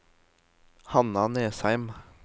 Hanna Nesheim